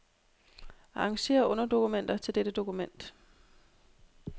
Arrangér underdokumenter til dette dokument.